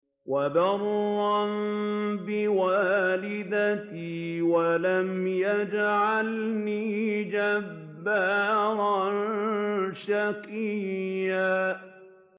وَبَرًّا بِوَالِدَتِي وَلَمْ يَجْعَلْنِي جَبَّارًا شَقِيًّا